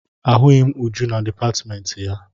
Ahụghị m Uju na dipatịmentị ya.